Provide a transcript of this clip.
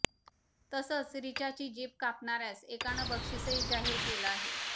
तसंच रिचाची जीभ कापणाऱ्यास एकानं बक्षिसही जाहीर केलं आहे